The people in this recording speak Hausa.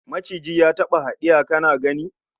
Maciji ya taba hadiya kana gani?